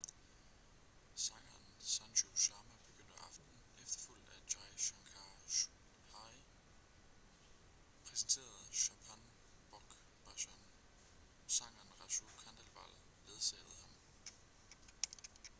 sangeren sanju sharma begyndte aftenen efterfulgt af jai shankar choudhary ............. præsenterede chhappan bhog bhajan. sangeren raju khandelwal ledsagede ham